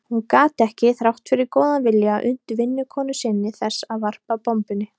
Hún gat ekki, þrátt fyrir góðan vilja, unnt vinnukonu sinni þess að varpa bombunni.